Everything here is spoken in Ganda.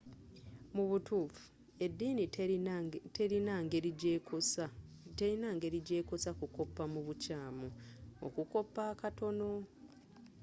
mu butuufu ediini terina ngeri jeekosa kukoppa mu bukyaamu okukoppa akatono